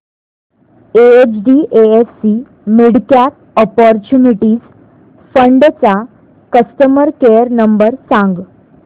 HDFC midcap opportunities fund चा customer care number सांग